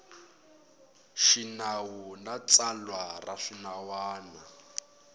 xinawu na tsalwa ra swinawana